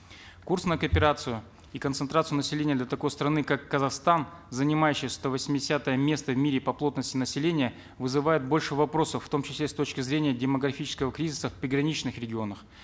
курс на кооперацию и концентрацию населения для такой страны как казахстан занимающей сто восьмидесятое место в мире по плотности населения вызывает больше вопросов в том числе с точки зрения демографического кризиса в приграничных регионах